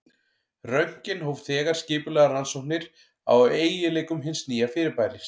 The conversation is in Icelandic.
Röntgen hóf þegar skipulegar rannsóknir á eiginleikum hins nýja fyrirbæris.